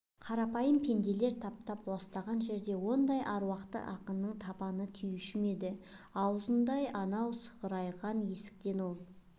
қарапайым пенделер таптап ластаған жерге ондай аруақты ақынның табаны тиюші ме еді аузындай анау сығырайған есіктен ол